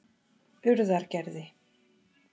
Urðargerði